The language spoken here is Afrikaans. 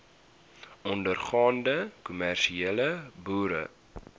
ondergaande kommersiële boere